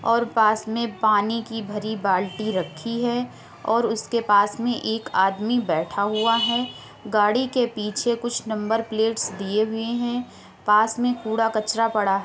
और पास में पानी की भरी बाल्टी रखी है और उसके पास में एक आदमी बैठा हुआ है। गाड़ी के पीछे कुछ नंबर प्लेट्स दिए हुए हैं। पास में कूड़ा कचरा पड़ा है।